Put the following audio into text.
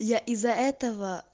я из-за этого